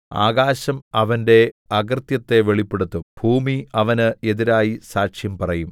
ആകാശം അവന്റെ അകൃത്യത്തെ വെളിപ്പെടുത്തും ഭൂമി അവന് എതിരായി സാക്ഷ്യം പറയും